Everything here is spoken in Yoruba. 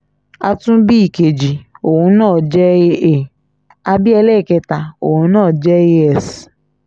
a tún bí ìkejì òun náà tún jẹ́ aa a bí ẹlẹ́ẹ̀kẹta òun jẹ́ as